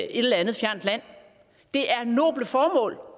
eller andet fjernt land det er noble formål